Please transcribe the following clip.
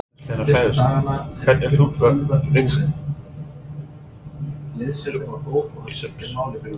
Magnús Hlynur Hreiðarsson: Hvert er hlutverk vígslubiskups?